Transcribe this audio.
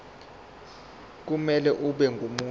kumele abe ngumuntu